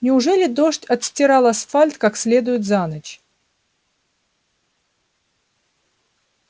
неужели дождь отстирал асфальт как следует за ночь